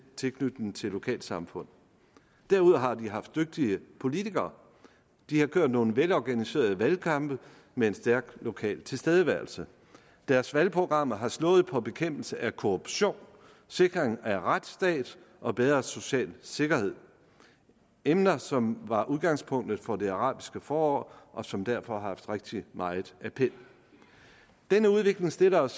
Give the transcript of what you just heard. tilknytning til lokalsamfund derude har de haft dygtige politikere de har kørt nogle velorganiserede valgkampe med en stærk lokal tilstedeværelse deres valgprogrammer har slået på bekæmpelse af korruptionen sikring af en retsstat og bedre social sikkerhed emner som var udgangspunktet for det arabiske forår og som derfor har haft rigtig meget appel denne udvikling stiller os